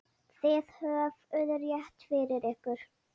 Þið höfðuð rétt fyrir ykkur.